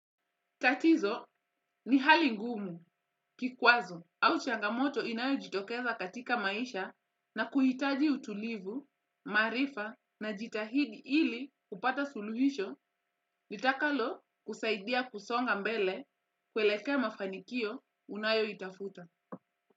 Tatizo ni hali ngumu kikwazo au changamoto inayo jitokeza katika maisha na kuhitaji utulivu, maarifa najitahidi ili kupata suluhisho litakalo kusaidia kusonga mbele kuelekea mafanikio unayoitafuta.